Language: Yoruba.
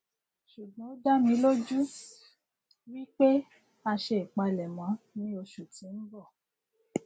ṣùgbón ó dá mi lójú wípé a ṣe ìpalẹmọ ní oṣù tí ń bọ